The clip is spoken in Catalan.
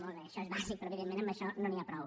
molt bé això és bàsic però evidentment amb això no n’hi prou